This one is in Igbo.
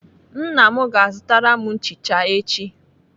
Nna m ga-azụtara m nchicha echi.